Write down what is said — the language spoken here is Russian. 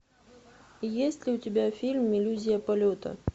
есть ли у тебя фильм иллюзия полета